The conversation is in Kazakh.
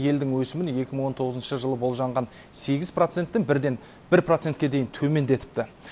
елдің өсімін екі мың он тоғызыншы жылы болжанған сегіз проценттің бірден бір процентке дейін төмендетіпті